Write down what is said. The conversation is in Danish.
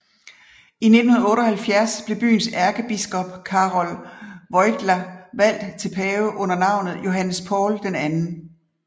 I 1978 blev byens ærkebiskop Karol Wojtyła valgt til pave under navnet Johannes Paul II